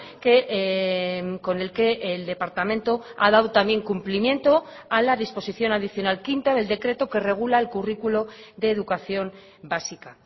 que con el que el departamento ha dado también cumplimiento a la disposición adicional quinta del decreto que regula el currículo de educación básica